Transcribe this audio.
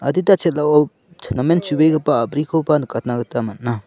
adita chel·ao namen chu·begipa a a·brikoba nikatna gita man·a.